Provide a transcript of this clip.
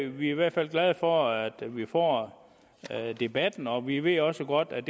vi i hvert fald glade for at vi får debatten og vi ved også godt at